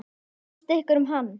Hvað fannst ykkur um hann?